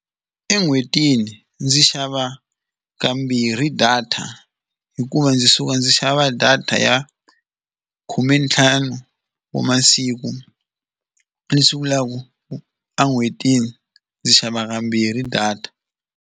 En'hwetini ndzi xava kambirhi data hikuva ndzi suka ndzi xava data ya khumentlhanu wa masiku leswi vulaka en'hwetini ndzi xava kambirhi data.